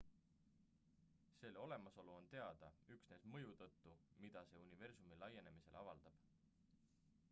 selle olemasolu on teada üksnes mõju tõttu mida see universumi laienemisele avaldab